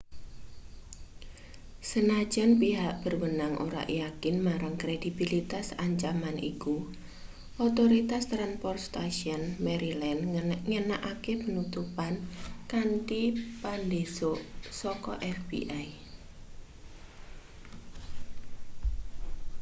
senajan pihak berwenang ora yakin marang kredibilitas ancaman iku otoritas transportaion maryland nganakake penutupan kanthi pandhesuk saka fbi